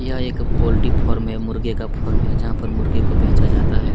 यह एक poultry farm है मुर्गे का फार्म है जहाँ पर मुर्गे को बेचा जाता है।